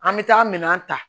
An bɛ taa minɛn ta